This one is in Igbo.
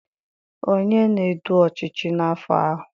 onye na-edu ọchịchị n'afọ ahụ.